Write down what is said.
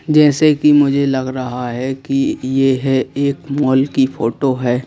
जैसे कि मुझे लग रहा है कि यह है एक मॉल की फोटो है।